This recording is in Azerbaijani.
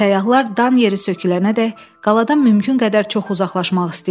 Səyyahlar dan yeri sökülənədək qaladan mümkün qədər çox uzaqlaşmaq istəyirdilər.